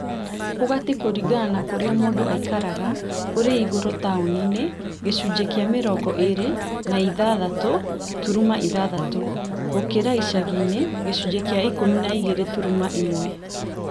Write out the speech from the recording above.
Ũgati kũringana na kũrĩa mũndũ aikaraga, ũrĩ igũrũ taũni-inĩ (gĩcunjĩ kĩa mĩrongo ĩĩrĩ na ithathatũ turuma ithathatũ) gũkĩra icagi-inĩ(gĩcunjĩ kĩa ikũmi na igĩrĩ turuma ĩmwe)